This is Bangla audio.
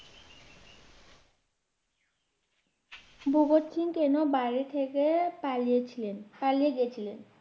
ভগৎ সিং কেন বাড়ি থেকে পালিয়ে ছিলেন পালিয়ে গেছিলেন?